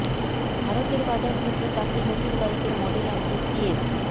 ভারতের বাজার ধরতে চারটি নতুন বাইকের মডেল আনছে সিএফ